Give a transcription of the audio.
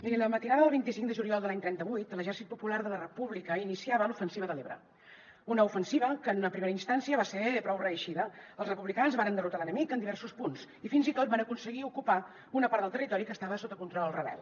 mirin la matinada del vint cinc de juliol de l’any trenta vuit l’exèrcit popular de la república iniciava l’ofensiva de l’ebre una ofensiva que en una primera instància va ser prou reeixida els republicans varen derrotar l’enemic en diversos punts i fins i tot van aconseguir ocupar una part del territori que estava sota control rebel